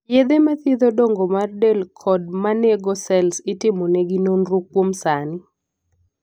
yedhe ma thiedho dongo mar del kod manego sels itimo negi nonro kuom sani